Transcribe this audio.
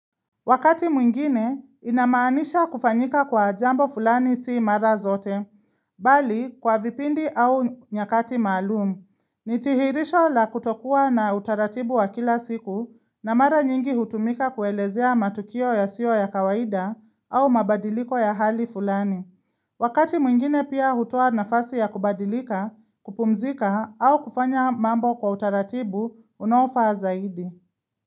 Wakati mwingine, inamaanisha kufanyika kwa jambo fulani si mara zote, bali kwa vipindi au nyakati maalumu. Nidhihirisho la kutokuwa na utaratibu wa kila siku na mara nyingi hutumika kuelezea matukio yasio ya kawaida au mabadiliko ya hali fulani. Wakati mwingine pia hutoa nafasi ya kubadilika, kupumzika au kufanya mambo kwa utaratibu, unaofaa zaidi.